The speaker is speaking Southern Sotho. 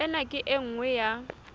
ena ke e nngwe ya